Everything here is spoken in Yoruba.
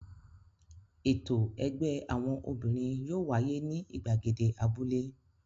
Ètò ẹgbẹ́ àwọn obìnrin yóò wáyé ní ìgbàgede abúlé.